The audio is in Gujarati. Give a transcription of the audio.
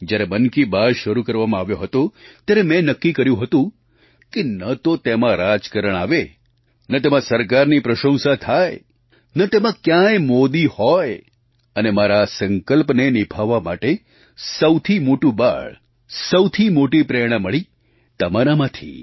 જ્યારે મન કી બાત શરૂ કરવામાં આવ્યો હતો ત્યારે મેં નક્કી કર્યું હતું કે ન તો તેમાં રાજકારણ આવે ન તેમાં સરકારની પ્રશંસા થાય ન તેમાં ક્યાંય મોદી હોય અને મારા આ સંકલ્પને નિભાવવા માટે સૌથી મોટું બળ સૌથી મોટી પ્રેરણા મળી તમારામાંથી